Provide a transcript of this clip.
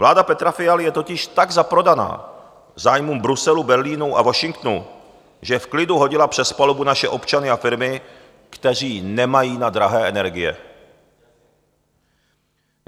Vláda Petra Fialy je totiž tak zaprodaná zájmům Bruselu, Berlínu a Washingtonu, že v klidu hodila přes palubu naše občany a firmy, kteří nemají na drahé energie.